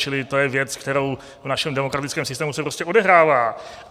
Čili to je věc, která v našem demokratickém systému se prostě odehrává.